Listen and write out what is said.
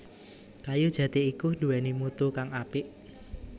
Kayu jati iku nduwèni mutu kang apik